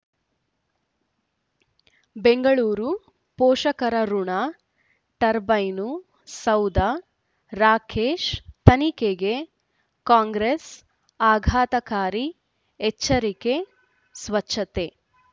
ಬೆಂಗಳೂರು ಪೋಷಕರಋಣ ಟರ್ಬೈನು ಸೌಧ ರಾಕೇಶ್ ತನಿಖೆಗೆ ಕಾಂಗ್ರೆಸ್ ಆಘಾತಕಾರಿ ಎಚ್ಚರಿಕೆ ಸ್ವಚ್ಛತೆ